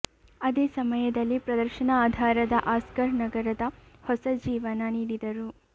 ಅದೇ ಸಮಯದಲ್ಲಿ ಪ್ರದರ್ಶನ ಆಧಾರದ ಆಸ್ಕರ್ ನಗರದ ಹೊಸ ಜೀವನ ನೀಡಿದರು